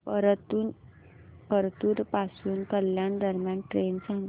परतूर पासून कल्याण दरम्यान ट्रेन सांगा